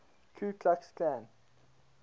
ku klux klan